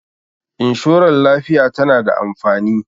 inshorar lafiya tana da amfani